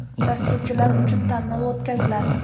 Dasturchilar uchun tanlov o‘tkaziladi.